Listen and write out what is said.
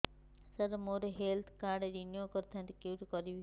ସାର ମୋର health card renew କରିଥାନ୍ତି କେଉଁଠି କରିବି